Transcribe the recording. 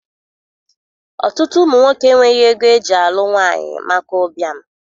Ọtụtụ ụmụ nwoke enweghị ego eji alụ nwaanyị maka ụbịam.